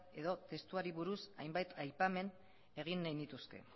edo testuari buruz hainbat aipamen egin nahi nituzke